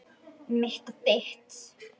Mitt og þitt.